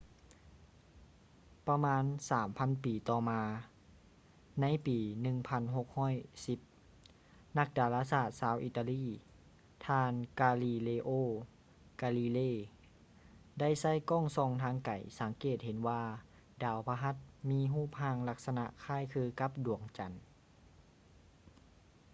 ປະມານສາມພັນປີຕໍ່ມາ ໃນປີ 1610 ນັກດາລາສາດຊາວອີຕາລີ ທ່ານ ກາລີເລໂອ ກາລີເລ galileo galilei ໄດ້ໃຊ້ກ້ອງສ່ອງທາງໄກສັງເກດເຫັນວ່າດາວພະຫັດມີຮູບຮ່າງລັກສະນະຄ້າຍຄືກັບດວງຈັນ